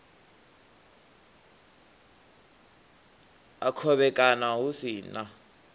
a khovhekano hu si na